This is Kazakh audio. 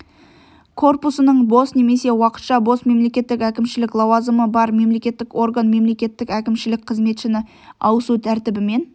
корпусының бос немесе уақытша бос мемлекеттік әкімшілік лауазымы бар мемлекеттік орган мемлекеттік әкімшілік қызметшіні ауысу тәртібімен